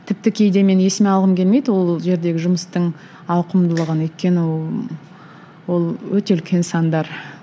тіпті кейде мен есіме алғым келмейді ол жердегі жұмыстың ауқымдылығын өйткені ол ол өте үлкен сандар